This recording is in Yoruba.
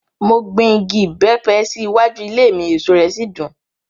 Mo gbin igi ìbẹ́pẹ sí iwájú ilé mi, èso rẹ̀ sì dùn.